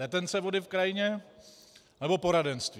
Retence vody v krajině, nebo poradenství?